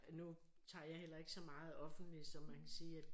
Nu tager jeg heller ikke så meget offentligt så man kan sige at